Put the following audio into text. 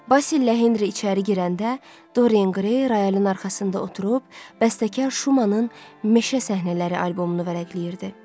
Basil ilə Henri içəri girəndə Dorian Rayalı'nın arxasında oturub bəstəkar Şumanın meşə səhnələri albomunu vərəqləyirdi.